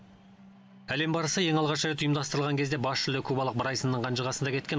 әлем барысы ең алғаш рет ұйымдастырылған кезде бас жүлде кубалық брайсонның қанжығасында кеткен